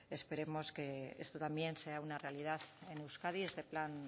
esperemos que esto también sea una realidad en euskadi este plan